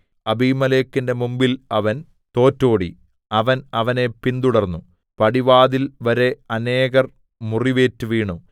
അബീമേലെക്കിന്റെ മുമ്പിൽ അവൻ തോറ്റോടി അവൻ അവനെ പിന്തുടർന്നു പടിവാതിൽ വരെ അനേകർ മുറിവേറ്റ് വീണു